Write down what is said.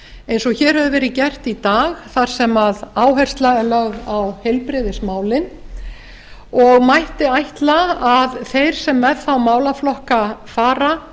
eins og hér hefur verið gert í dag þar sem áhersla er lögð á heilbrigðismálin og mætti ætla að þeir sem með þá málaflokka fara